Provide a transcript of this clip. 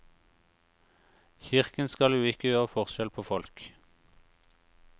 Kirken skal jo ikke gjøre forskjell på folk.